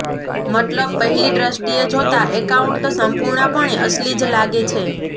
મતલબ પહેલી દ્રષ્ટિએ જોતા એકાઉન્ટ સંપૂર્ણપણે અસલી જ લાગે છે